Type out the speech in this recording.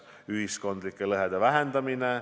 Ühiskondlike lõhede vähendamine.